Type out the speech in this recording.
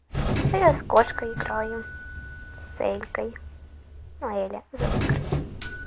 а я с кошкой играю с элькой ну её эля зовут короче